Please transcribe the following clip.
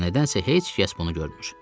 Amma nədənsə heç kəs bunu görmür.